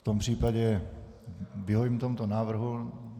V tom případě vyhovím tomuto návrhu.